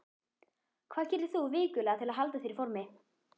Hvað gerir þú vikulega til að halda þér í formi?